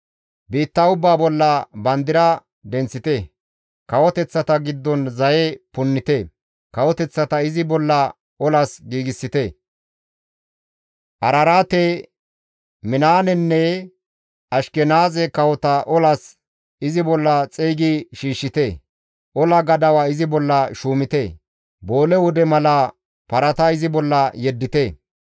«Biitta ubbaa bolla bandira denththite; kawoteththata giddon zaye punnite; kawoteththata izi bolla olas giigsite; Araraate, Minaanenne Ashkenaaze kawota olas izi bolla xeygi shiishshite; ola gadawa izi bolla shuumite; boole wude mala parata izi bolla yeddite.